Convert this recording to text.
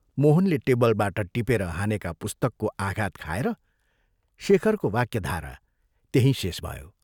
मोहनले टेबलबाट टिपेर हानेका पुस्तकको आघात खाएर शेखरको वाक्यधारा त्यहीं शेष भयो।